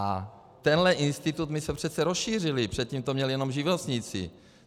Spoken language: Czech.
A tenhle institut my jsme přece rozšířili, předtím to měli jenom živnostníci.